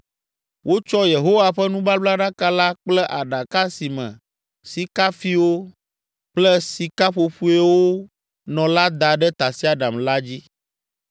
Wotsɔ Yehowa ƒe nubablaɖaka la kple aɖaka si me sikafiwo kple sikaƒoƒoeawo nɔ la da ɖe tasiaɖam la dzi.